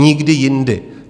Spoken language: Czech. Nikdy jindy.